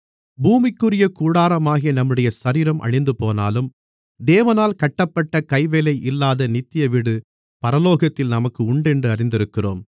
பூமிக்குரிய கூடாரமாகிய நம்முடைய சரீரம் அழிந்துபோனாலும் தேவனால் கட்டப்பட்ட கைவேலை இல்லாத நித்திய வீடு பரலோகத்தில் நமக்கு உண்டென்று அறிந்திருக்கிறோம்